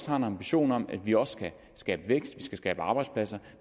har en ambition om at vi også skal skabe vækst at skal skabe arbejdspladser